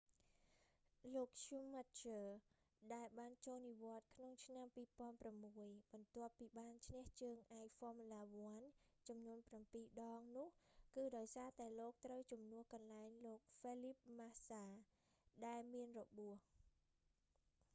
លោក schumacher ស្គូម៉ាឃើ ដែលបានចូលនិវត្តន៍ក្នុងឆ្នាំ 2006 បន្ទាប់ពីបានឈ្នះជើងឯក formula 1 ចំនួនប្រាំពីរ ដងនោះ គឺដោយសារតែលោកត្រូវជំនួសកន្លែងលោក felipe massa ហ្វែលលីបពី ម៉ាសា ដែលមានរបួស